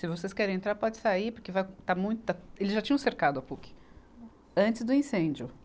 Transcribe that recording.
Se vocês querem entrar, pode sair, porque vai, está muita, eles já tinham cercado a Puc antes do incêndio.